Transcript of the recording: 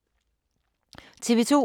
TV 2